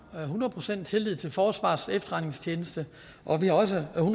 hundrede procent tillid til forsvarets efterretningstjeneste og at vi også har